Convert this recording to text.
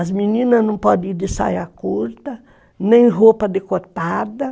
As meninas não podem ir de saia curta, nem roupa decotada.